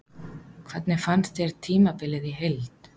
Hvernig fannst þér tímabilið í heild?